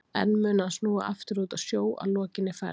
En mun hann snúa aftur út á sjó að lokinni ferð?